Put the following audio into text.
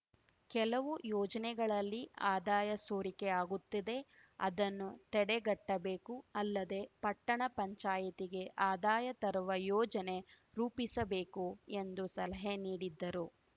ಕೆಲವು ಯೋಜನೆಗಳಲ್ಲಿ ಆದಾಯ ಸೋರಿಕೆ ಆಗುತ್ತಿದೆ ಅದನ್ನು ತಡೆಗಟ್ಟಬೇಕು ಅಲ್ಲದೆ ಪಟ್ಟಣ ಪಂಚಾಯಿತಿಗೆ ಆದಾಯ ತರುವ ಯೋಜನೆ ರೂಪಿಸಬೇಕು ಎಂದು ಸಲಹೆ ನೀಡಿದ್ದರು